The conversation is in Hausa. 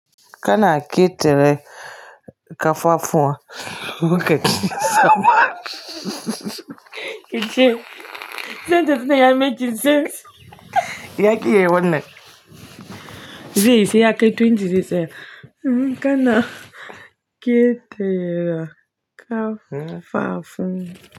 Kana ke tere kafafuwa Kije, sentence nan yayi making sense Ya ki yayi wannan zaiyi saiya kai twenty six eh? Kana ke tere kafafun.